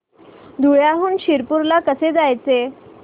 धुळ्याहून शिरपूर ला कसे जायचे